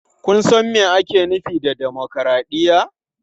Kun san me ake nufi da dimokuraɗiyya?